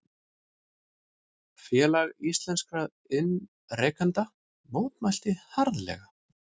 Félag íslenskra iðnrekenda mótmælti harðlega